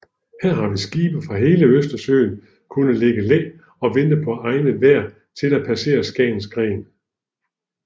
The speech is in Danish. Her har skibe fra hele Østersøen kunnet ligge i læ og vente på egnet vejr til at passere Skagens Gren